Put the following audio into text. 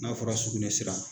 N'a fɔra sugunɛ sira.